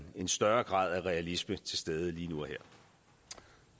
en større grad af realisme til stede lige nu